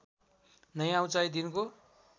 नयाँ उचाइ दिनको